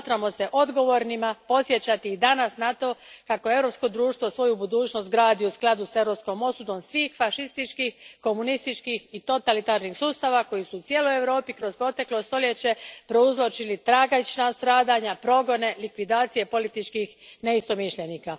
Smatramo se odgovornima podsjećati i danas na to kako europsko društvo svoju budućnost gradi u skladu s europskom osudom svih fašističkih, komunističkih i totalitarnih sustava koji su u cijeloj Europi kroz proteklo stoljeće prouzročili tragična stradanja, progone, likvidacije političkih neistomišljenika.